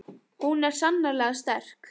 Hún er sannarlega sterk.